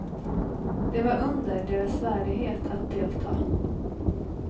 Det var under deras värdighet att delta.